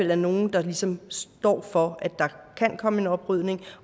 være nogle der ligesom står for at der kan komme en oprydning